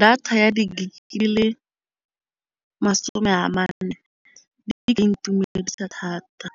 Data ya di-gig ke lesome a mane mme e ka intumedisa thata.